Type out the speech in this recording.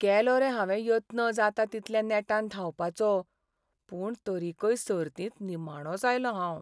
केलो रे हावें यत्न जाता तितल्या नेटान धांवपाचो, पूण तरीकय सर्तींत निमणोंच आयलों हांव.